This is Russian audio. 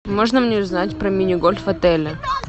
можно мне узнать про мини гольф в отеле